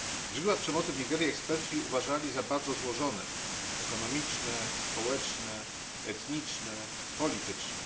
Źródła przemocy w Nigerii eksperci uważali za bardzo złożone ekonomiczne, społeczne, etniczne, polityczne.